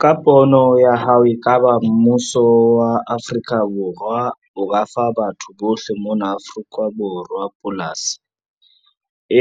Ka pono ya hao, e ka ba mmuso wa Afrika Borwa o ka fa batho bohle mona Afrika Borwa polasi?